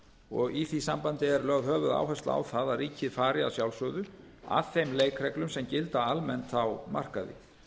og í því sambandi er lögð höfuðáhersla á það að ríkið fari að sjálfsögðu að þeim leikreglum sem gilda almennt á markaði